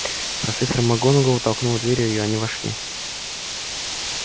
профессор макгонагалл толкнула дверь и они вошли